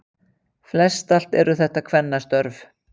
Flest allt eru þetta kvennastörf